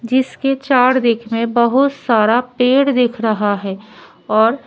जिसके चार दिख में बहुत सारा पेड़ दिख रहा है और--